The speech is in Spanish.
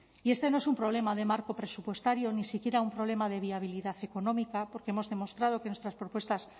y este no es un problema de marco presupuestario ni siquiera un problema de viabilidad económica porque hemos demostrado que nuestras propuestas